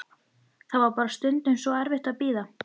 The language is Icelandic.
Það var bara stundum svo erfitt að bíða.